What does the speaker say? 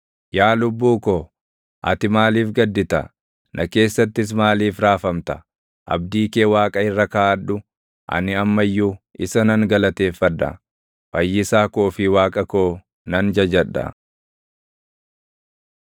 Yaa lubbuu ko, ati maaliif gaddita? Na keessattis maaliif raafamta? Abdii kee Waaqa irra kaaʼadhu; ani amma iyyuu isa nan galateeffadha; Fayyisaa koo fi Waaqa koo nan jajadha.